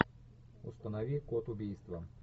установи код убийства